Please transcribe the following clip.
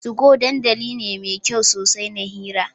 Tugo dandali ne mai kyau sosai na hira.